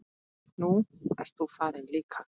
Nú ert þú farin líka.